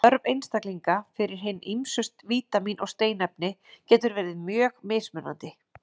Þörf einstaklinga fyrir hin ýmsu vítamín og steinefni getur verið mjög mismunandi.